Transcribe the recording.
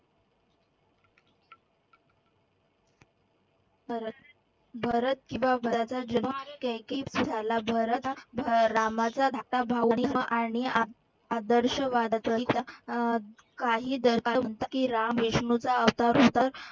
भरत भरत किंवा झाला भरत हा रामाचा धाकटा भाऊ आणि राम, विष्णूचा अवतार होता.